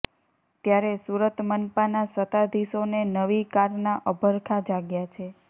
ત્યારે સુરત મનપાના સત્તાધીશોને નવી કારના અભરખા જાગ્યા છે